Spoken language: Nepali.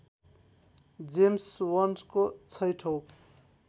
जेम्स वन्डको छैठौँ